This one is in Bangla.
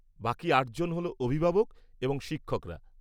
বাকি আটজন হল অভিভাবক এবং শিক্ষকরা।